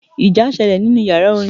Ìjà sẹlẹ̀ nínú yàrá orin.